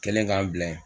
Kelen k'an bila ye